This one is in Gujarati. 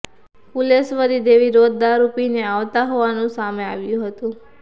ફુલેશ્વરી દેવી રોજ દારૂ પીને આવતા હોવાનું સામે આવ્યું હતું